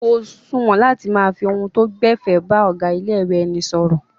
Kò suwọ̀n láti máa fi ohun tó gbẹ̀fẹ̀ bá ọ̀gá ilé-ìwé ẹni sọ̀rọ̀.